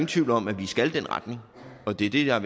tvivl om at vi skal i den retning og det det er